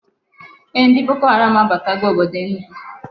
Ee, ndi Boko Haram abatago obodo Enugu